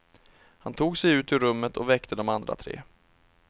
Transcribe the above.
Han tog sig ut ur rummet och väckte de andra tre.